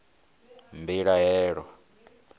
mbilahelo